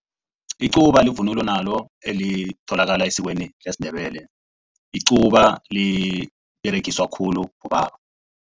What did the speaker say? Icuba livunulo nalo elitholakala esikweni lesiNdebele. Icuba liberegiswa khulu bobaba.